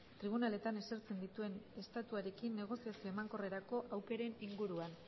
tribunaletan esertzen dituen estatuarekin negoziazio emankorrerako aukeren inguruan